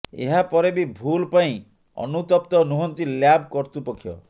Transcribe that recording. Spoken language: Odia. ଏହା ପରେ ବି ଭୁଲ୍ ପାଇଁ ଅନୁତପ୍ତ ନୁହଁନ୍ତି ଲ୍ୟାବ କର୍ତୃପକ୍ଷ